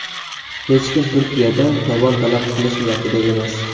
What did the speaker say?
Hech kim Turkiyadan tovon talab qilish niyatida emas.